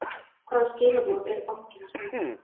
Hvaða skilaboð er bankinn að senda?